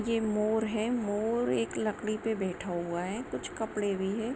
ये मोर है मोर एक लड़की पे बैठा हुआ है कुछ कपड़े भी हैं।